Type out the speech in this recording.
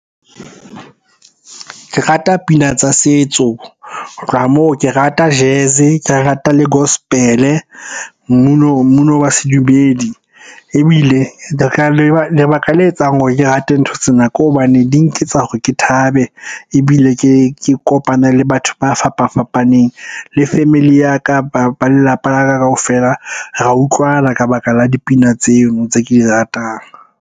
Ke rata pina tsa setso. Ho tloha moo ke rata Jazz, ke rata le Gospel-e mmino wa sedumedi. Ebile lebaka le etsang hore ke rate ntho tsena ke hobane di nketsa hore ke thabe, ebile ke kopane le batho ba fapafapaneng. Le family ya ka ba lelapa la ka kaofela ra utlwana ka baka la dipina tseno tse ke di ratang.